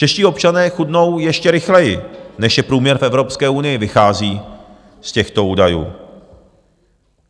Čeští občané chudnou ještě rychleji, než je průměr v Evropské unii, vychází z těchto údajů.